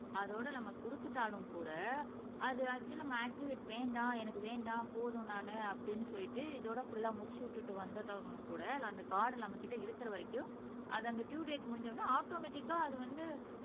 அதோட நம்ம குடுத்துட்டாலும் கூட அது ஆக்சுவல் நம்ம ஆக்டிவேட் வேண்டாம் எனக்கு வேண்டாம் போதும் நானு அப்படின்னு சொல்லிட்டு இதோட புல்லா முடிச்சு விட்டுட்டு வந்துட்டவங்களும் கூட அந்த கார்டு நம்மகிட்ட இருக்கிற வரைக்கும் அது அந்த ட்யூ டேட் முடிஞ்ச உடனே ஆட்டோமேட்டிக்கா அது வந்து